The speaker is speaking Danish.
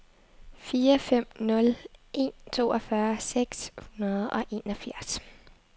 fire fem nul en toogfyrre seks hundrede og enogfirs